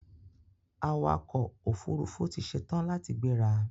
Awakọ̀ ọkò òfurufú ti ṣetán láti gbẹ́ra.